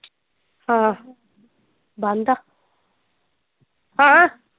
ਹਾਂ ਬੰਦ ਆ, ਹਾਂ।